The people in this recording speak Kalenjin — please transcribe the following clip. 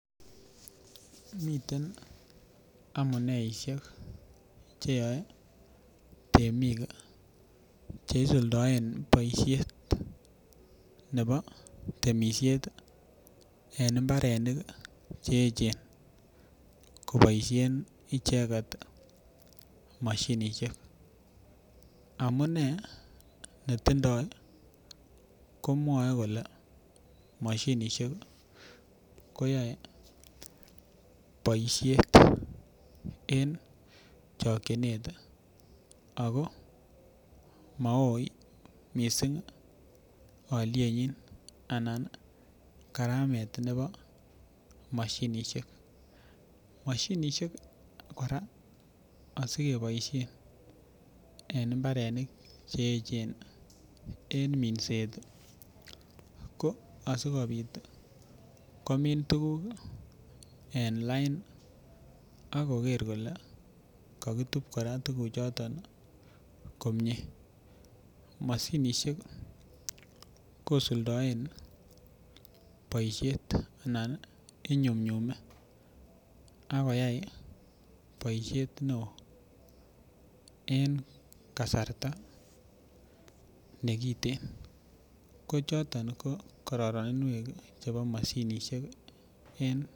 Miten amuneisiek Che yoe temik Che isuldoen boisiet nebo temisiet en mbarenik Che echen koboisien icheget mashinisiek amune netindoi ko mwoe kole mashinisiek koyoe boisiet en chokyinet ago mo Maui mising alyenyi anan karamet nebo mashinisiek mashinisiek kora asi keboisien en mbarenik Che echen en minset ko asikobit komin tuguk en lain ak koger kole kakitu tuguchoto komie mashinisiek kosuldaen boisiet Anan inyumnyume ak koyai boisiet neo en kasarta nekiten ko choton ko kororoninwek chebo mashinisiek en kabatisiet